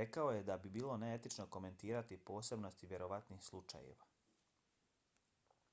rekao je da bi bilo neetično komentirati posebnosti vjerovatnih slučajeva